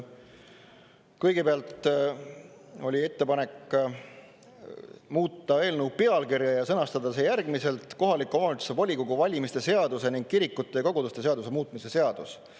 Kõigepealt oli ettepanek muuta eelnõu pealkirja ja sõnastada see järgmiselt: kohaliku omavalitsuse volikogu valimiste seaduse ning kirikute ja koguduste seaduse muutmise seadus.